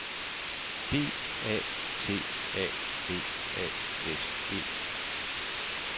D A T A B A S E